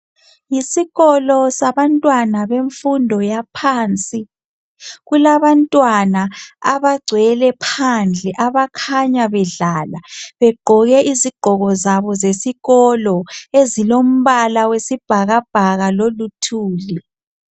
Yisikolo sabantwana bemfundo yaphansi. Kulabantwana abagcwele phandle abakhanya bedlala begqoke izigqoko zabo zesikolo ezilombala wesibhakabhaka loluthuli.